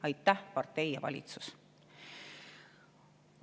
Aitäh, partei ja valitsus!